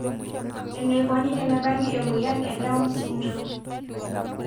Eneikoni tenebaki emoyian e Down syndrome.